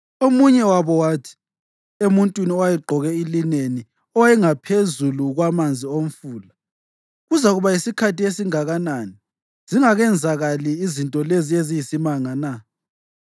Omunye wabo wathi emuntwini owayegqoke ilineni owayengaphezulu kwamanzi omfula, “Kuzakuba yisikhathi esingakanani zingakenzakali izinto lezi eziyisimanga na?”